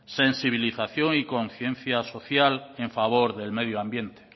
sensibilización y conciencia social en favor del medio ambiente